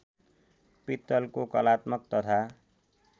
पित्तलको कलात्मक तथा